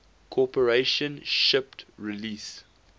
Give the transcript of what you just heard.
corporation shipped release